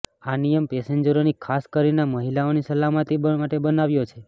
આ નિયમ પેસેન્જરોની ખાસ કરીને મહિલાઓની સલામતી માટે બનાવાયો છે